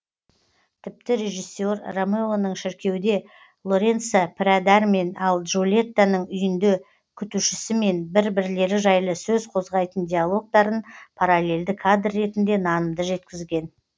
тіпті режиссер ромеоның шіркеуде лоренцо пірәдармен ал джульеттаның үйінде күтушісімен бір бірлері жайлы сөз қозғайтын диалогтарын паралельді кадр ретінде нанымды жеткізген